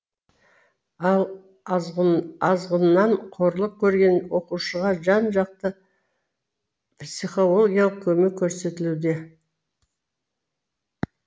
ал азғыннан қорлық көрген оқушыға жан жақты психологиялық көмек көрсетілуде